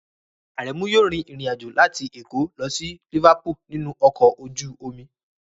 Aremu yóò rin ìrìn àjò láti Èkó lọ sí Liverpool nínú ọkọ̀ ojú omi